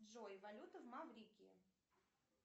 джой валюта в маврикии